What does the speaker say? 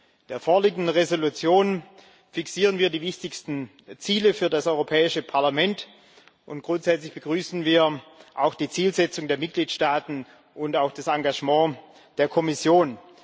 In der vorliegenden Entschließung fixieren wir die wichtigsten Ziele für das Europäische Parlament, und grundsätzlich begrüßen wir auch die Zielsetzung der Mitgliedstaaten und auch das Engagement der Kommission.